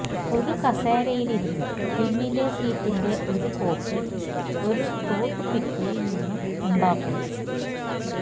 ഒരു കസേരയിലിരുന്ന് പിന്നിലെ സീറ്റിന്റെ ഒരു കോപ്പി ഒരു ടൂത്ത്പിക്കിളിൽ നിന്ന് ഉണ്ടാക്കുന്നു